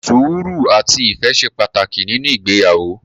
Sùúrù, àti ìfẹ́ ṣe pàtàkì nínú ìgbéyàwó.